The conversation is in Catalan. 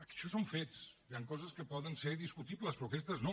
això són fets hi han coses que poden ser discutibles però aquestes no